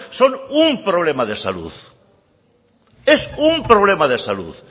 son un problema de salud es un problema de salud